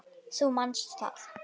Þú manst það.